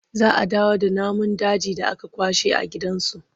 Za a dawo da namun dajin da aka kwashe a gidan zu.